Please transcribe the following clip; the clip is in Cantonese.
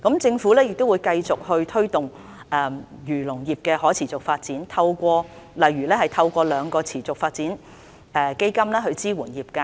政府亦會繼續推動漁農業的可持續發展，例如透過兩個持續發展基金支援業界。